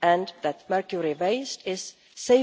and that mercury waste is safely start out of reach, thereby avoiding its improper use and release into the environment.